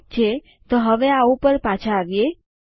ઠીક છે તો હવે આ ઉપર પાછા આવીએ